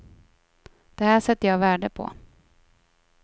Det här sätter jag värde på.